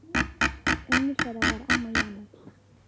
Önnur þeirra var amma Jana.